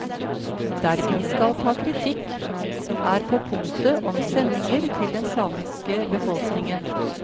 Der vi skal ta kritikk, er på punktet om sendinger til den samiske befolkningen.